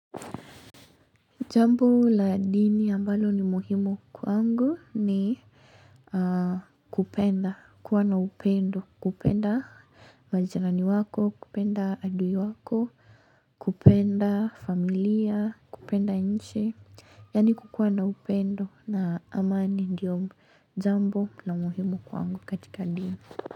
Jambo la dini ambalo ni muhimu kwangu ni kupenda, kuwa na upendo, kupenda majirani wako, kupenda adui wako, kupenda familia, kupenda nchi, yaani kukuwa na upendo na amani ndiyo jambo na muhimu kwangu katika dini.